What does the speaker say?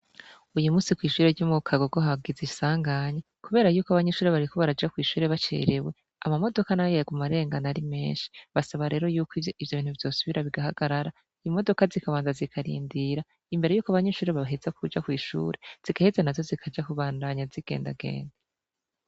Uyu munsi kwishure ryo mu KAGOGO hagize isanganya kubera yuko abanyeshure bariko baraja kwishure bacerewe amamodoka nayo yaguma arengana ari menshi basaba rero yuko ivyo bintu vyosubira bigahagarara imodoka zikabanza zikarindira imbere yuko abanyeshure baheza kuja kwishure zigaheza nazo zikaja kubandanya zigendagenda.